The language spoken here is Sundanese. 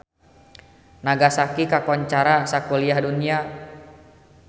Nagasaki kakoncara sakuliah dunya